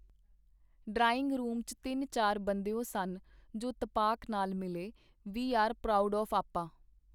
Drawing room ਚ ਤਿੰਨ ਚਾਰ ਬੰਦਿਓ ਸਨ ਜੋ ਤਪਾਕ ਨਾਲ ਮਿਲੇ- ਵੂਈ ਆਰ ਪਰਾਊਡ ਆਫ਼ ਆਪਾ.